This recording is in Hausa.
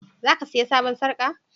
Za ka saya sabon sarka?